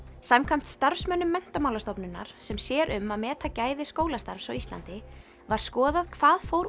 samkvæmt starfsmönnum Menntamálastofnunar sem sér um að meta gæði skólastarfs á Íslandi var skoðað hvað fór